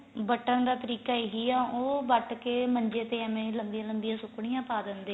ਵੱਟਣ ਦਾ ਤਰੀਕਾ ਇਹੀ ਏ ਉਹ ਵੱਟ ਕੇ ਮੰਜੇ ਤੇ ਐਵੇ ਲੰਬੀਆਂ ਲੰਬੀਆਂ ਸੁਕਣੀਆਂ ਪਾ ਦਿੰਦੇ ਏ